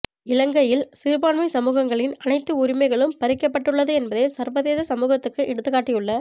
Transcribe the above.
இலங்கையில் சிறுபான்மை சமூகங்களின் அனைத்து உரிமைகளும் பறிக்கப்பட்டுள்ளது என்பதை சர்வதேச சமூகத்துக்கு எடுத்துக்காட்டியுள்ள